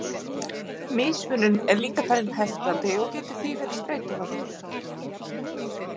Mismunun er líka talin heftandi og getur því verið streituvaldur.